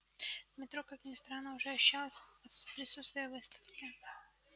в метро как ни странно уже ощущалось присутствие выставки